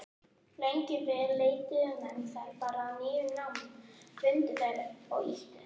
Lengi vel leituðu menn þá bara að nýjum námum, fundu þær og nýttu.